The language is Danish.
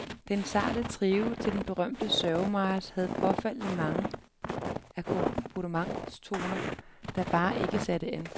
Den sarte trio til den berømte sørgemarch havde påfaldende mange akkompagnentstoner, der bare ikke satte an.